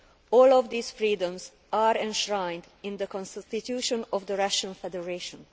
All of these freedoms are enshrined in the Constitution of the Russian Federation.